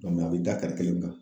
a bɛ da kelen kan